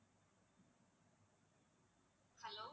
hello